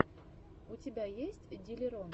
у тебя есть диллерон